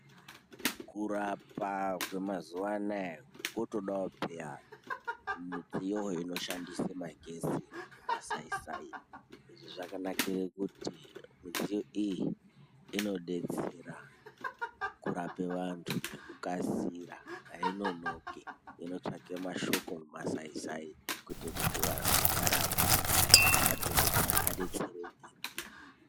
Kurapa kwemazuwa anaya kwotodawo peyaa midziyo inoshandisa magetsi nemaai Sai. Izvi zvakanakira kuti midziyo iyi inodetsera kurape vantu ngekukasira ainonoki. Inotsvaka mashoko mumasai sai kuita kuti vantu varapwe madhokotheya abetsereke.